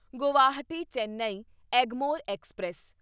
Guwahati Chennai Egmore express